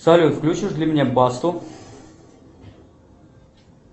салют включишь для меня басту